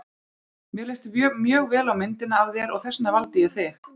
Mér leist mjög vel á myndina af þér og þess vegna valdi ég þig.